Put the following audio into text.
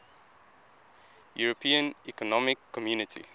european economic community